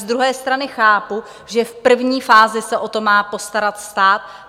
Z druhé strany chápu, že v první fázi se o to má postarat stát.